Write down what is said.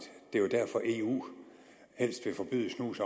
det er jo derfor eu helst vil forbyde snus